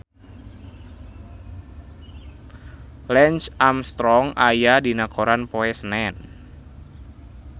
Lance Armstrong aya dina koran poe Senen